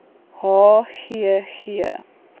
h g g